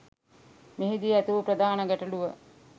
මෙහිදී ඇතිවූ ප්‍රධාන ගැටලුව